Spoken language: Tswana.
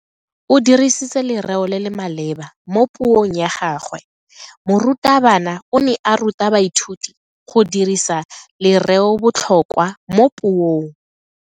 O dirisitse lereo le le maleba mo puong ya gagwe. Morutabana o ne a ruta baithuti go dirisa lereobotlhokwa mo puong.